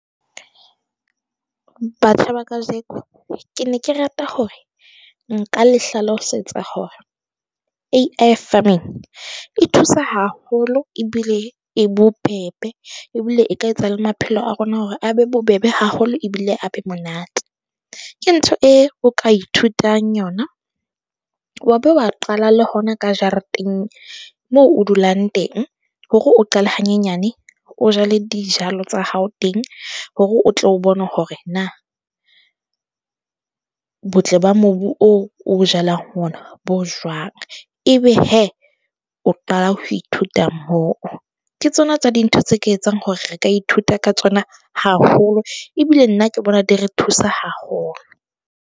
Batjha ba kajeko, ke ne ke rata hore nka le hlalosetsa hore e thusa haholo ebile e bobebe ebile e ka etsa le maphelo a rona hore a be bobebe haholo ebile a be monate. Ke ntho e o ka ithutang yona. Wa ba wa qala le hona ka jareteng moo o dulang teng hore o qale hanyenyane. O jale dijalo tsa hao teng, hore o tle o bone hore na botle ba mobu oo o o jalang ona bo jwang. Ebe hee o qala ho ithuta moo, ke tsona tsa dintho tse ke etsang hore re ka ithuta ka tsona haholo ebile nna ke bona di re thusa haholo.